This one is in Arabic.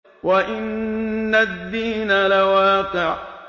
وَإِنَّ الدِّينَ لَوَاقِعٌ